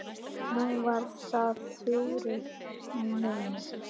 Nú var það Þuríður mín.